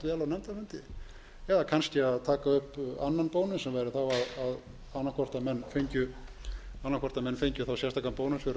nefndarfundi eða kannski að taka upp annan bónus sem væri þá annað hvort að menn fengju þá sérstakan bónus